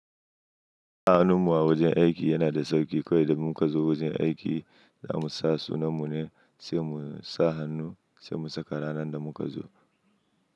Sa hannu mu a wajen aiki yana da sauƙi. Kawai idan mu kazo wajen aiki za mu sa sunan mu ne, sai mu sa hannu sai mu saka ranar da muka zo.